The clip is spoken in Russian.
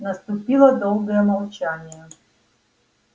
наступило долгое молчание